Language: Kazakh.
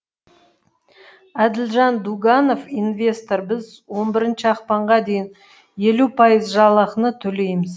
әділжан дуганов инвестор біз он бірінші ақпанға дейін елу пайыз жалақыны төлейміз